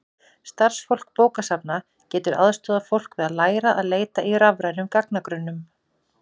starfsfólk bókasafna getur aðstoðað fólk við að læra að leita í rafrænum gagnagrunnum